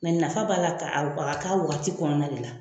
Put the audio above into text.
nafa b'a la ka a ka wagati kɔnɔna de la